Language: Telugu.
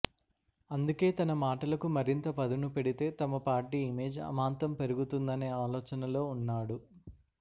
అందుకే తన మాటలకు మరింత పదును పెడితే తమ పార్టీ ఇమేజ్ అమాంతం పెరుగుతుందనే ఆలోచనలో ఉన్నాడు